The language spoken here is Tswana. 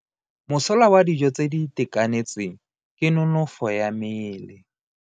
Mosola wa dijo tse di itekanetseng ke nonofo ya mmele.